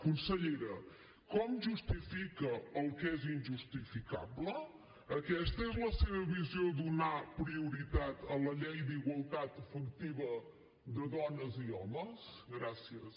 consellera com justifica el que és injustificable aquesta és la seva visió de donar prioritat a la llei d’igualtat efectiva de dones i homes gràcies